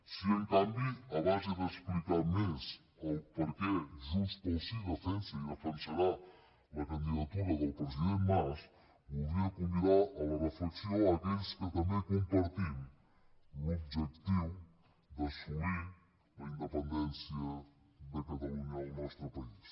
sí en canvi a base d’explicar més el perquè junts pel sí defensa i defensarà la candidatura del president mas voldria convidar a la reflexió a aquells que també compartim l’objectiu d’assolir la independència de catalunya al nostre país